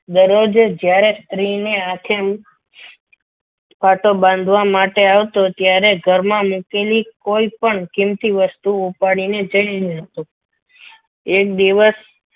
દરરોજ જ્યારે સ્ત્રીની આંખો બાંધવા માટે આવતો ત્યારે ઘરમાં મૂકેલી કોઈ પણ કીમતી વસ્તુઓ ઉપાડીને જઈ રહ્યો હતો એક દિવસ